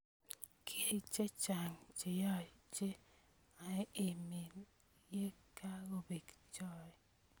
Kiek che chang cheyaacheng emee ye kongobek choe.